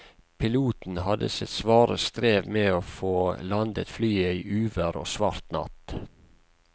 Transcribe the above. Piloten hadde sitt svare strev med å få landet flyet i uvær og svart natt.